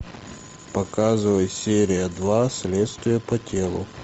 показывай серия два следствие по телу